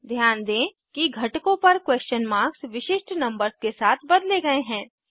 ध्यान दें कि घटकों पर क्वेश्चन मार्क्स विशिष्ट नंबर्स के साथ बदले गए हैं